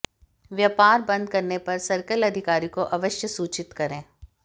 व्यापार बंद करने पर सर्किल अधिकारी को अवश्य सूचित करें